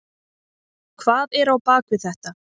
Hvað er á bak við þetta?